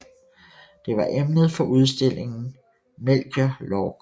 Det var emnet for udstillingen Melchior Lorck